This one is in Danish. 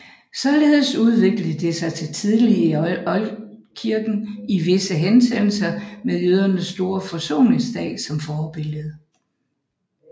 Således udviklede det sig tidlig i oldkirken i visse henseender med jødernes store forsoningsdag som forbillede